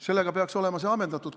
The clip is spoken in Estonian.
Sellega peaks olema see teema ammendatud.